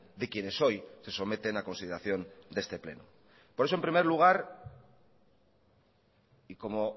de quienes hoy se someten a consideración de este pleno por eso en primer lugar y como